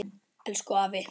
Elsku afi.